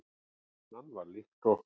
Hann var líkt og